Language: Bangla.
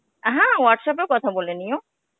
হ্যাঁ, Whatsapp এও কথা বলে নিও.